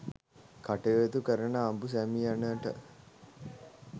කටයුතු කරන අඹු සැමියනට